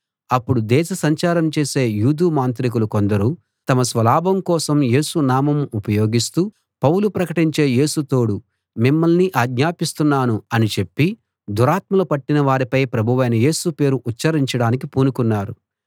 అప్పుడు దేశసంచారం చేసే యూదు మాంత్రికులు కొందరు తమ స్వలాభం కోసం యేసు నామం ఉపయోగిస్తూ పౌలు ప్రకటించే యేసు తోడు మిమ్మల్ని ఆజ్ఞాపిస్తున్నాను అని చెప్పి దురాత్మలు పట్టినవారిపై ప్రభువైన యేసు పేరు ఉచ్ఛరించడానికి పూనుకున్నారు